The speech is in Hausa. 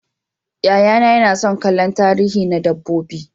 Yayana yana son kallon tarihi na dabbobi.